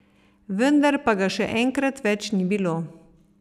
Vendar pa ga še enkrat več ni bilo.